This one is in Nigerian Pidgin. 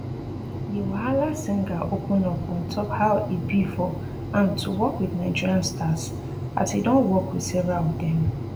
di wahala singer open up on top how e be for am to work wit nigerian stars as e don work wit several of dem